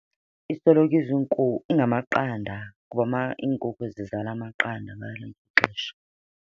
Isoloko ingamaqanda kuba iinkukhu zizala amaqanda ngalo lonke ixesha.